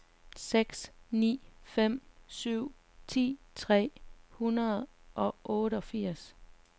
seks ni fem syv ti tre hundrede og otteogfirs